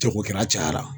Jagokɛla cayara